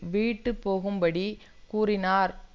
வீட்டு போகும்படி கூறினார்